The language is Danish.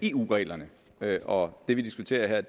eu reglerne og det vi diskuterer her